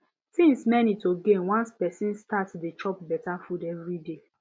things many to gain once person start dey chop better food every day